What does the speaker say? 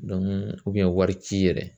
wari ci yɛrɛ